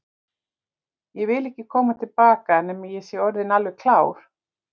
Ég vil ekki koma til baka nema ég sé orðinn alveg klár.